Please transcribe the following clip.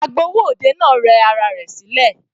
Agbowó òde náà rẹ ara rẹ̀ sílẹ̀.